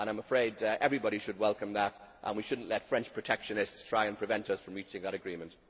I am afraid everybody should welcome that, and we should not let French protectionists try and prevent us from reaching that agreement.